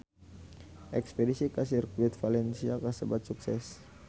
Espedisi ka Sirkuit Valencia kasebat sukses